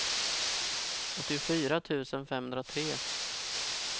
åttiofyra tusen femhundratre